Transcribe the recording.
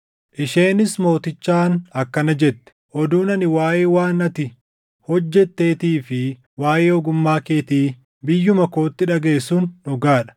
Isheenis mootichaan akkana jette; “Oduun ani waaʼee waan ati hojjetteetii fi waaʼee ogummaa keetii biyyuma kootti dhagaʼe sun dhugaa dha.